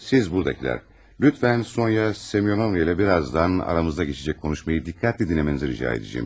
Siz burdakılar, lütfən Sonya Semyonovna'yla birazdan aramızda keçəcək konuşmayı diqqətlə dinləməyinizi rica edəcəyəm.